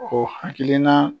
O hakilina